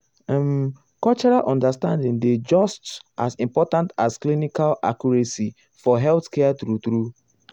um cultural understanding dey just as important as clinical accuracy for healthcare true true.